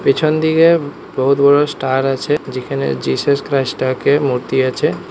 পেছন দিকে বহুৎ বড় স্টার আছে যেখানে জিসাস ক্রাইস্ট টাকে মূর্তি আছে।